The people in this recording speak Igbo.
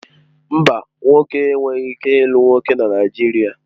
Mba, nwoke enweghị ike ịlụ nwoke na Naijiria